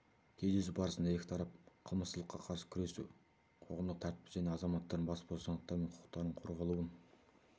кездесу барысында екі тарап қылмыстылыққа қарсы күресу қоғамдық тәртіпті және азаматтардың бас бостандықтары мен құқықтарының қорғалуын